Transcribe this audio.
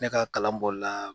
Ne ka kalanbɔli la